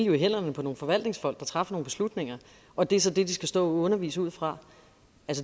jo i hænderne på forvaltningsfolk der træffer nogle beslutninger og det er så det de skal stå og undervise ud fra